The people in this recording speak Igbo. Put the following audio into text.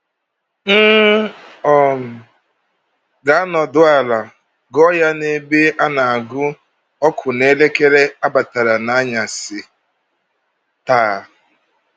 “M um Ga-anọdụ Ala Gụọ Ya n’Ebe A Na-agụ Ọkụ n’Elekere Abatara n’Anyasị Taa”